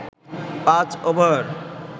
পাঁচ ওভার